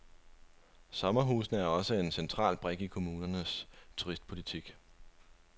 Sommerhusene er også en central brik i kommunernes turistpolitik.